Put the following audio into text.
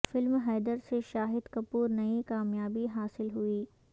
film Haider سے شاہد کپور نئی کامیابی حاصل ہوئی